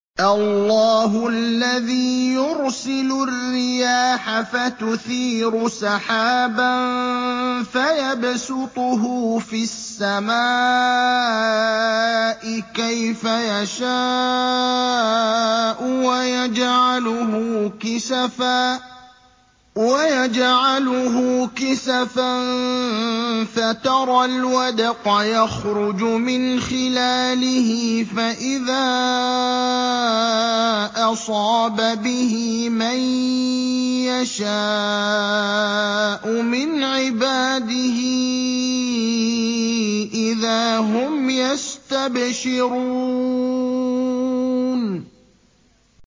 اللَّهُ الَّذِي يُرْسِلُ الرِّيَاحَ فَتُثِيرُ سَحَابًا فَيَبْسُطُهُ فِي السَّمَاءِ كَيْفَ يَشَاءُ وَيَجْعَلُهُ كِسَفًا فَتَرَى الْوَدْقَ يَخْرُجُ مِنْ خِلَالِهِ ۖ فَإِذَا أَصَابَ بِهِ مَن يَشَاءُ مِنْ عِبَادِهِ إِذَا هُمْ يَسْتَبْشِرُونَ